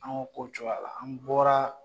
An ko ko cogoya la an bɔra